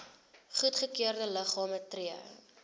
goedgekeurde liggame tree